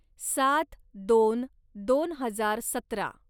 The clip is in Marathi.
सात दोन दोन हजार सतरा